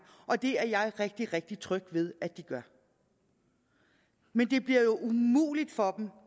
og det er jeg rigtig rigtig tryg ved at de gør men det bliver jo umuligt for dem